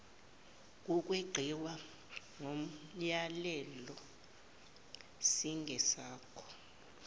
kokweqiwa komyalelo singesakho